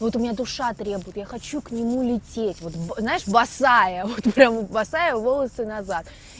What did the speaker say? вот у меня душа требует я хочу к нему лететь вот знаешь босая вот прямо босая волосы назад